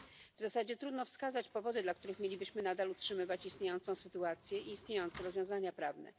W zasadzie trudno wskazać powody, dla których mielibyśmy nadal utrzymywać istniejącą sytuację i istniejące rozwiązania prawne.